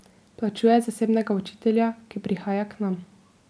Plačuje zasebnega učitelja, ki prihaja k nam.